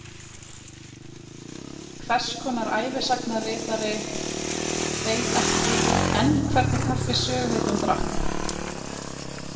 Hvers konar ævisagnaritari veit ekki enn hvernig kaffi söguhetjan drakk?